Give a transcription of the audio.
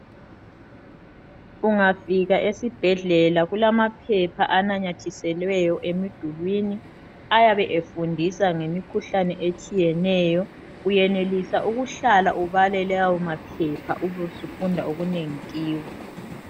Ungafika esibhedlela kulamaphepha ananyathiselweyo emidulini ayabe efundisa ngemikhuhlane etshiyeneyo, uyenelisa ukuhlala ubale lawo maphepha ubusufunda okunengi kiwo